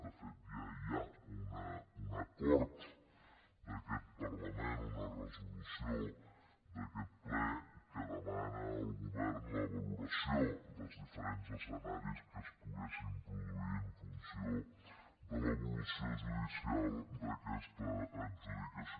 de fet ja hi ha un acord d’aquest parlament una resolució d’aquest ple que demana al govern la valoració dels diferents escenaris que es poguessin produir en funció de l’evolució judicial d’aquesta adjudicació